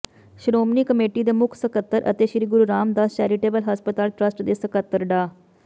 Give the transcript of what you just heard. Shiromani committee ਦੇ ਮੁੱਖ ਸਕੱਤਰ ਅਤੇ ਸ੍ਰੀ ਗੁਰੂ ਰਾਮਦਾਸ ਚੈਰੀਟੇਬਲ ਹਸਪਤਾਲ ਟਰੱਸਟ ਦੇ ਸਕੱਤਰ ਡਾ